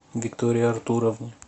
виктории артуровне